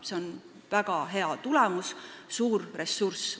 See on väga hea tulemus, suur ressurss.